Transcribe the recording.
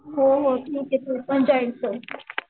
हो हो ठीक आहे तू पण जॉईन्ड कर